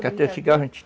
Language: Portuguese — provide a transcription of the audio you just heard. cigarro